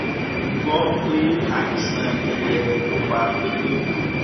mo gbọ pé àìsàn jẹjẹrẹ ló pa pétérù